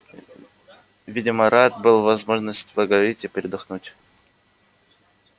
видимо рад был возможности поговорить и передохнуть